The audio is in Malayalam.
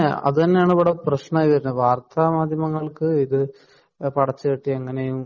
പടച്ചുകെട്ടി എങ്ങിനെയും മുന്നോട്ടു പോവുന്ന അവസാനം നീതി കിട്ടാതെയാവുന്ന അവരുടെ കുടുംബം